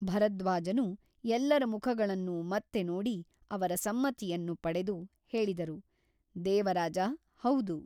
ಭರದ್ವಾಜನು ಎಲ್ಲರ ಮುಖಗಳನ್ನು ಮತ್ತೆ ನೋಡಿ ಅವರ ಸಮ್ಮತಿಯನ್ನು ಪಡೆದು ಹೇಳಿದರು ದೇವರಾಜ ಹೌದು.